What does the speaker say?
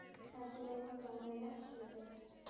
Kannski megi nota hann við messugjörð.